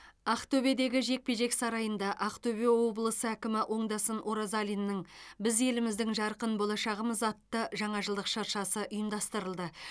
ақтөбедегі жекпе жек сарайында ақтөбе облысы әкімі оңдасын оразалиннің біз еліміздің жарқын болашағымыз атты жаңа жылдық шыршасы ұйымдастырылды